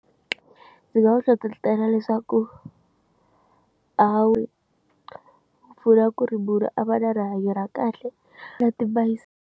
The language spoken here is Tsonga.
Ndzi nga va hlohlotela leswaku a wu pfula ku ri munhu a va na rihanyo ra kahle na timayisele.